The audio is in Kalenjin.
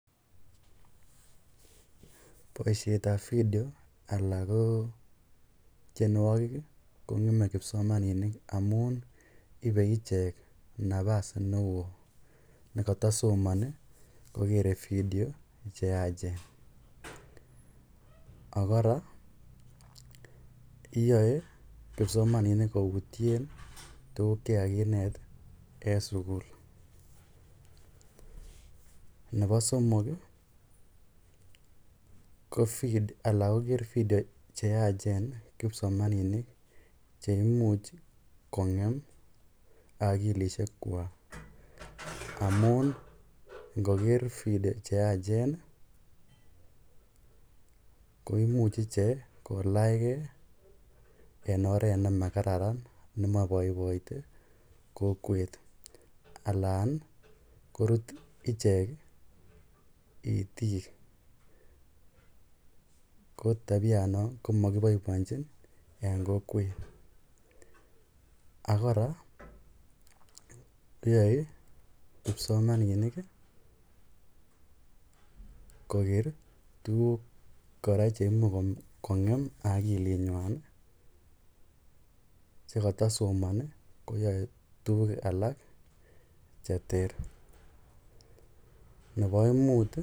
Boishetab vidio anan ko mionwokik ko ngeme kipsomaninik amun ibee ichek nabas neo nekotosomoni kokere vidio cheachen, ak kora yoe kipsomaninik koutyen tukuk chekakinet en sukul, nebo somok ko alaan koker vidio cheyachen kipsomaninik cheimuch kongem akilishe kwak amun ingoker vidio cheyachen koimuch ichek kolachke en oreet nemakararan nemo boiboite kokwet alaan korut ichek itiik ko tabianon komokiboiboenchin en kokwet, ak kora yoe kipsomninik koker tukuk cheimuch kongem okilinywan chekotosomoni koyoe tukuk alak cheter, nebo muut.